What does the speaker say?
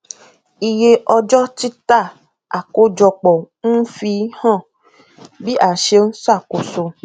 iye ọjọ títà àkójọpọ ń fi hàn bí a ṣe ń ṣàkóso